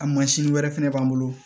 A mansin wɛrɛ fɛnɛ b'an bolo